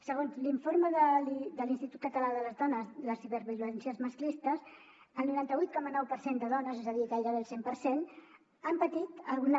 segons l’informe de l’institut català de les dones de les ciberviolències masclistes el noranta vuit coma nou per cent de dones és a dir gairebé el cent per cent han patit alguna